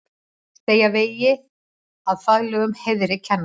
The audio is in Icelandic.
Segja vegið að faglegum heiðri kennara